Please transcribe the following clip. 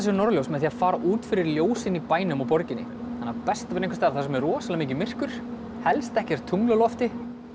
norðurljós með því að fara út fyrir ljósin í bænum og borginni best þar sem er rosalega mikið myrkur helst ekkert tungl á lofti